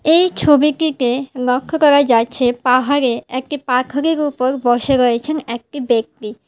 এই ছবিটিতে লক্ষ করা যাচ্ছে পাহাড়ে একটি পাখরের উপর বসে রয়েছেন একটি ব্যক্তি।